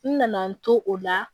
N nana n to o la